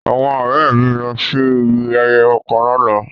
Awọn ọrẹ mi lọ si ibi ayẹyẹ kan làná